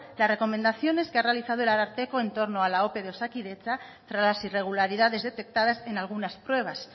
las recomendaciones que ha realizado el ararteko en torno a la ope de osakidetza tras las irregularidades detectadas en algunas pruebas